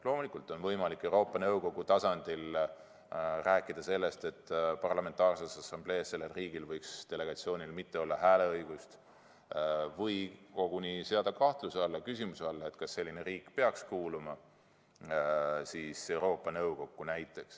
Loomulikult on võimalik Euroopa Nõukogu tasandil rääkida sellest, et Parlamentaarses Assamblees võiks selle riigi delegatsioonil mitte olla hääleõigust, või koguni seada küsimuse alla, kas selline riik üldse peaks kuuluma Euroopa Nõukokku.